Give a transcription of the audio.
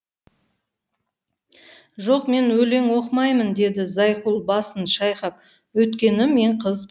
жоқ мен өлең оқымаймын деді зайкүл басын шайқап өйткені мен қызбын